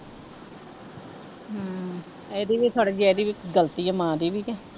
ਹਮ ਇਹਦੀ ਵੀ ਥੋੜ੍ਹੀ ਜਿਹੀ ਇਹਦੀ ਵੀ ਗ਼ਲਤੀ ਹੈ ਮਾਂ ਦੀ ਵੀ ਤੇ।